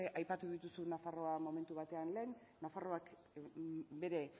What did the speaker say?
aipatu dituzun nafarroa momentu batean lehen nafarroak bere